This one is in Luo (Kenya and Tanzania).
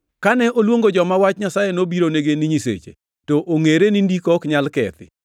Kane oluongo joma wach Nyasaye nobironigi ni ‘nyiseche,’ to ongʼere ni Ndiko ok nyal kethi,